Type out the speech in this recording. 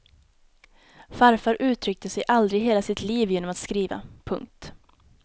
Farfar uttryckte sig aldrig i hela sitt liv genom att skriva. punkt